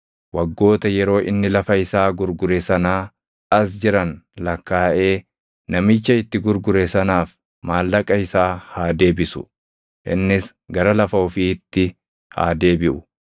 waggoota yeroo inni lafa isaa gurgure sanaa as jiran lakkaaʼee namicha itti gurgure sanaaf maallaqa isaa haa deebisu; innis gara lafa ofiitti haa deebiʼu.